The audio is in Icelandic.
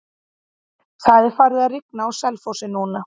Það er farið að rigna á Selfossi núna.